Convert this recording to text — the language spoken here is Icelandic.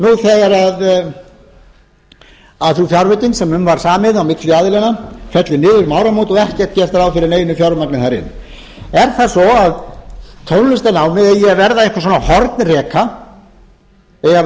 framhaldsskólanum nú þegar sú fjárveiting sem um var samið á milli aðilanna fellur niður um áramót og ekki er gert ráð fyrir neinu fjármagni þar er það svo að tónlistarnámið eigi að verða einhver svona hornreka eigi